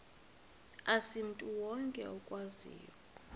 asimntu wonke okwaziyo